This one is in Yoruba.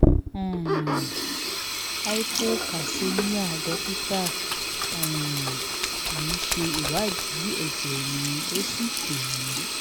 um hypocalcemia dókítà um mi ṣe ìwádìí ẹjẹ mi ó sì pe mi